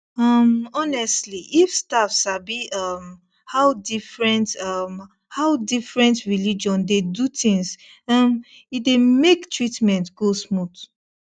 um honestly if staff sabi um how different um how different religion dey do things um e dey make treatment go smooth